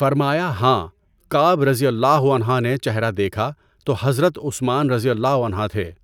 فرمایا ہاں، کعب رضی اللہ عنہ نے چہرہ دیکھا تو حضرت عثمان رضی اللہ عنہ تھے۔